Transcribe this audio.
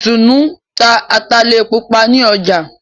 Itunu n'ta Atale Pupa nì ọjà